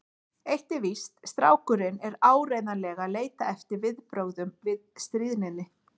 En eitt er víst: Strákurinn er áreiðanlega að leita eftir viðbrögðum við stríðninni.